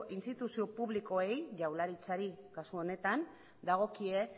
instituzio publikoei jaurlaritzari kasu honetan dagokie